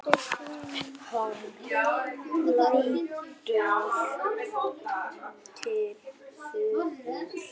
Hann hélt til suðurs.